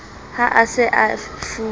ha a sa e fuwe